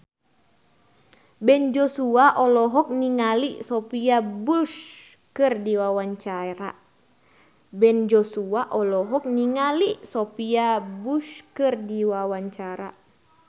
Ben Joshua olohok ningali Sophia Bush keur diwawancara